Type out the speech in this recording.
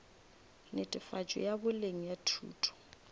netefatšo ya boleng ya thuto